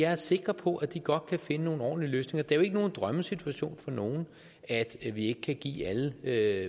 er sikker på at de godt kan finde nogle ordentlige løsninger det er jo ikke nogen drømmesituation for nogen at vi ikke kan give alle hver